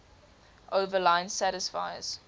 overline satisfies